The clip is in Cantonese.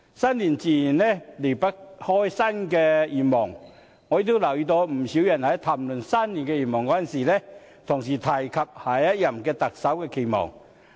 新年自然離不開新的願望，我也留意到不少人在談論新年願望時，同時提及對下任特首的期望。